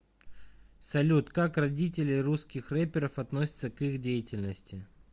салют как родители русских рэперов относятся к их деятельности